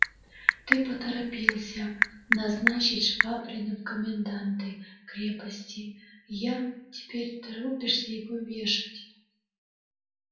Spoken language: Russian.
ты поторопился назначить швабрина в коменданты крепости я теперь торопишься его вешать